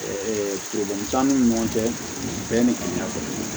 t'an ni ɲɔgɔn cɛ bɛn ni kɔni y'a kɛ